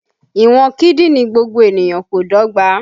Ìwọ̀n kídìní gbogbo ènìyàn kò dọ́gba